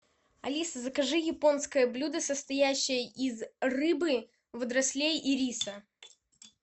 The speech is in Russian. алиса закажи японское блюдо состоящее из рыбы водорослей и риса